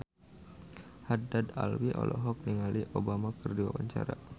Haddad Alwi olohok ningali Obama keur diwawancara